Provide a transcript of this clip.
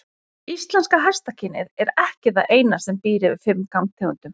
Íslenska hestakynið er ekki það eina sem býr yfir fimm gangtegundum.